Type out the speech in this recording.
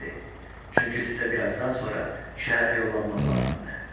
Çünki sizə bir azdan sonra şəhərə yollanmaq lazımdır.